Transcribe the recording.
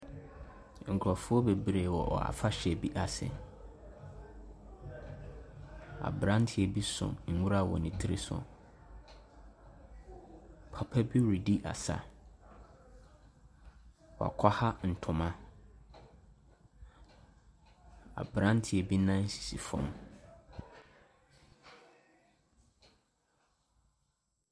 Nkurofoɔ bebree wɔ afahyɛ bi ase. Abranteɛ bi so nwura wɔ ne tiri so. Papa bi redi asa. Wakwaha ntoma, abranteɛ bi nan sisi fam.